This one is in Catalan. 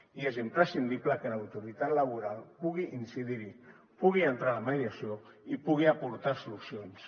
i és imprescindible que l’autoritat laboral pugui incidir hi pugui entrar a la mediació i pugui aportar solucions